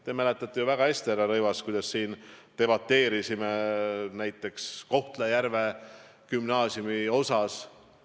Te mäletate ju väga hästi, härra Rõivas, kuidas me siin debateerisime näiteks Kohtla-Järve gümnaasiumi teemal.